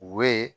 U bɛ